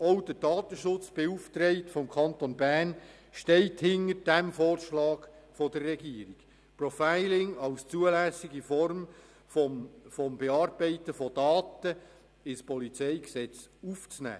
Auch der Datenschutzbeauftragte des Kantons Bern steht hinter dem Vorschlag der Regierung, das Profiling als zulässige Form des Bearbeitens von Daten ins Polizeigesetz aufzunehmen.